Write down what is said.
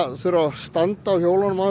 þurfa að standa á hjólunum án þess